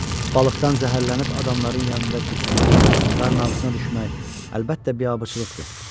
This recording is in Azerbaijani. Balıqdan zəhərlənib adamların yanında qusmaq, qarın ağrısına düşmək, əlbəttə, biabırçılıqdır.